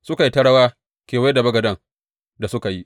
Suka yi ta rawa kewaye da bagaden da suka yi.